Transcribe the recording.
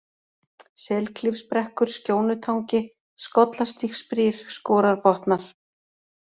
Selklifsbrekkur, Skjónutangi, Skollastígsbrýr, Skorarbotnar